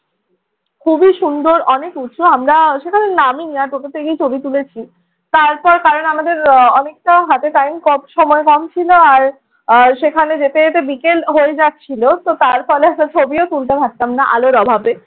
খুবই সুন্দর, অনেক উঁচু। আমরা সেখানে নামিনি। আর টোটো থেকেই ছবি তুলেছি। তারপর কারণ আমাদের আহ অনেকটা হাতে time কম সময় কম ছিল আর আর সেখানে যেতে যেতে বিকেল হয়ে যাচ্ছিল। তো তার ফলে একটা ছবিও তুলতে পারতাম না আলোর অভাবে।